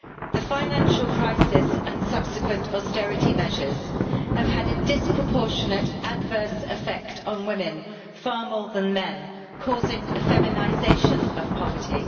The financial crisis and subsequent austerity measures have had a disproportionate adverse effect on women far more than men causing a feminisation of poverty.